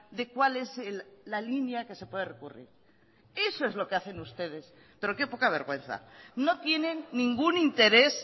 de cuál es la línea que se puede recurrir eso es lo que hacen ustedes pero qué poca vergüenza no tienen ningún interés